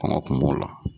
Kɔngɔ kun b'o la